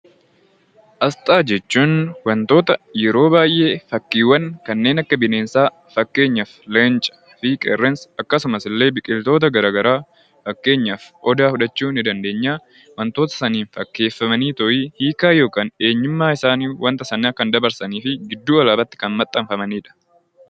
Asxaa jechuun wantoota yeroo baay'ee fakkiiwwan kanneen akka bineensaa fakkeenyaaf leencaa fi qeerransa akkasumas illee biqiltoota garaagaraa fakkeenyaaf odaa fudhachuu ni dandeenya. Wantoota sanaan fakkeeffamanii hiikaa yookiin eenyummaa isaanii kan ibsanii fi eenyummaa isaanii kan himudha.